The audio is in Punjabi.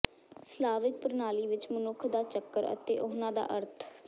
ਸਲਾਵਿਕ ਪ੍ਰਣਾਲੀ ਵਿਚ ਮਨੁੱਖ ਦਾ ਚੱਕਰ ਅਤੇ ਉਹਨਾਂ ਦਾ ਅਰਥ